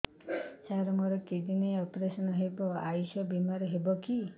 ସାର ମୋର କିଡ଼ନୀ ଅପେରସନ ହେବ ଆୟୁଷ ବିମାରେ ହେବ କି